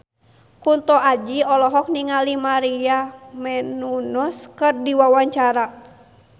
Kunto Aji olohok ningali Maria Menounos keur diwawancara